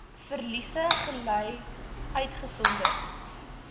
verliese gely uitgesonderd